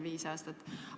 Viis aastat on möödunud.